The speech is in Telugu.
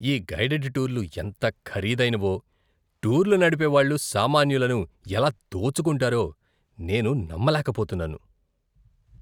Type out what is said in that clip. ఈ గైడెడ్ టూర్లు ఎంత ఖరీదైనవో, టూర్లు నడిపేవాళ్ళు సామాన్యులను ఎలా దోచుకుంటారో నేను నమ్మలేకపోతున్నాను.